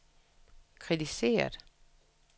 kritiseret